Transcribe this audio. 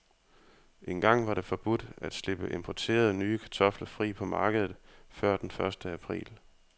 Engang var det forbudt at slippe importerede, nye kartofler fri på markedet før den første april.